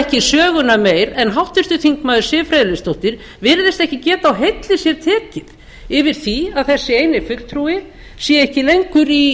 ekki söguna meir en háttvirtur þingmaður siv friðleifsdóttir virðist ekki geta á heilli sér tekið yfir því að þessi eini fulltrúi sé ekki lengur í